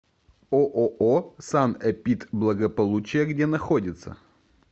ооо санэпидблагополучие где находится